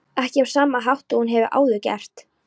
Ekki á sama hátt og hún hefur áður gert.